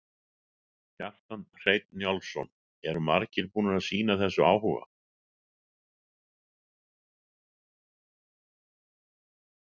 Kjartan Hreinn Njálsson: Eru margir búnir að sýna þessu áhuga?